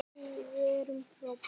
Því við erum frábær.